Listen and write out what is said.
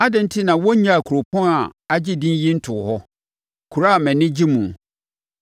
Adɛn enti na wɔnnyaa kuropɔn a agye din yi ntoo hɔ, kuro a mʼani gye muo?